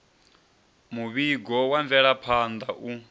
muvhigo wa mvelaphan ḓa u